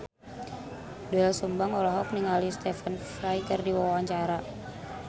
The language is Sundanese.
Doel Sumbang olohok ningali Stephen Fry keur diwawancara